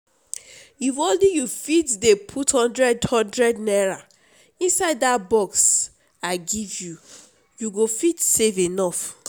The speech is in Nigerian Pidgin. if ony you fit dey put hundred hundred naira inside dat box i give you you go fit save enough